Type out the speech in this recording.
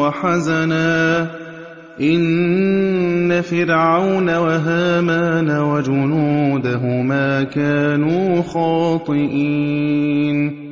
وَحَزَنًا ۗ إِنَّ فِرْعَوْنَ وَهَامَانَ وَجُنُودَهُمَا كَانُوا خَاطِئِينَ